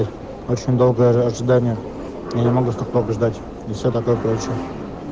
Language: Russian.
очень долгое ожи ожидание я не могу столько долго ждать и все такое короче